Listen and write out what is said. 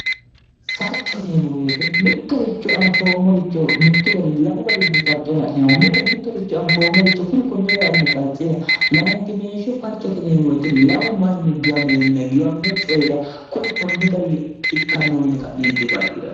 farco yineemmo beete mittoricho anfoommoricho mittu gadini lamu garinni farco la'neemmo mite mittoricho anfoommoricho kuni konni gara adini farciira layinkimeeshsho farcoteneemuweeti lamu manni giwameenna giwamino coyira kuni konni gari ikkannoo yine ka'neenti farci'rao